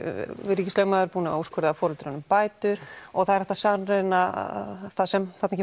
ríkislögmaður er búinn að úrskurða foreldrunum bætur og það er hægt að sannreyna það sem þarna